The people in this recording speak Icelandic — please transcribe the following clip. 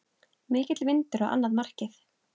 Mikill vindur á annað markið.